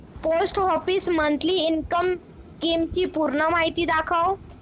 post office monthly income scheme ची पूर्ण माहिती दाखव